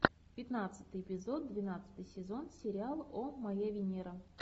пятнадцатый эпизод двенадцатый сезон сериал о моя венера